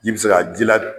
Ji bɛ se ka ji ladiya